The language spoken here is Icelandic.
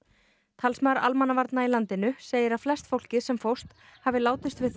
talsmaður almannavarna í landinu segir að flest fólkið sem fórst hafi látist við